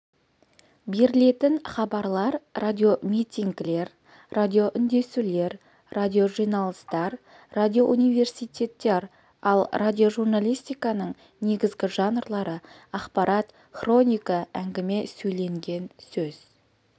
берілетін хабарлар радиомитингілер радиоүндесулер радиожиналыстар радиоуниверситеттер ал радиожурналистиканың негізгі жанрлары ақпарат хроника әңгіме сөйленген сөз